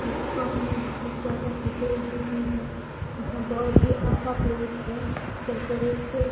restaurant में बहोत ज्यादा सीटें लगी हुई है यहां बहोत ही अच्छा प्लेस है डेकोरेट तो --